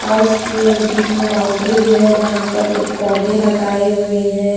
और उसकी एक बीच में बाउंड्री भी है यहां पर कुछ पौधे लगाए हुए हैं।